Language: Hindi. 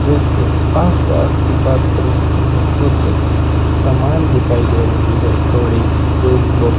ड्रेस के आस पास की बात करो तो मुझे कुछ सामान दिखाई दे रहे हैं जैसे हथौड़ी टूल बॉक्स ।